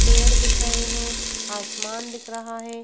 पेड़ दिख रहे है आसमान दिख रहा है।